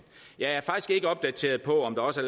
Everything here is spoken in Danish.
jeg er faktisk ikke opdateret på om der også